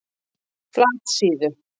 Flatasíðu